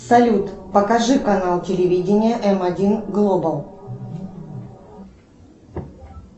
салют покажи канал телевидения м один глобал